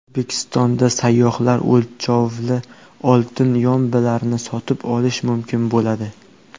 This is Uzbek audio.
O‘zbekistonda sayyohlar o‘lchovli oltin yombilarni sotib olishi mumkin bo‘ladi.